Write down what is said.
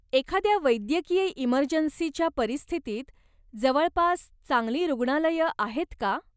एखाद्या वैद्यकीय इमरजन्सीच्या परिस्थितीत, जवळपास चांगली रुग्णालयं आहेत का?